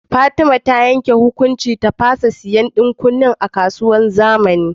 Fatima ta yanke hukuncin ta fasha siyan dan kunnan a kasuwar zamani